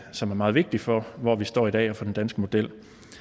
som er meget vigtig for hvor vi står i dag og for den danske model